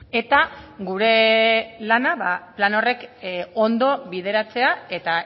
eta gure lana plan horrek ondo bideratzea eta